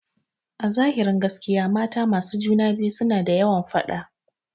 Azahirin gaskiya mata masu juna biyu na da yawan faɗa.